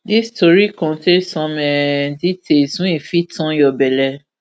dis tori contain some um details wey fit turn your belle